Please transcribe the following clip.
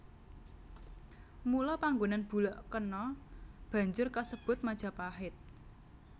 Mula panggonan bulak kana banjur kasebut Majapahit